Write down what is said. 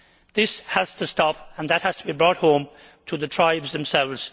This has to stop, and that has to be brought home to the tribes themselves.